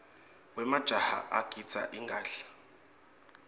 wemajaha agidza ingadla